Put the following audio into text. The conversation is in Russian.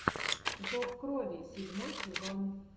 зов крови седьмой сезон